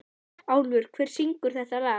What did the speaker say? Álfur, hver syngur þetta lag?